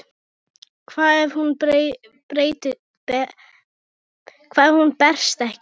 Hvað ef hún berst ekki?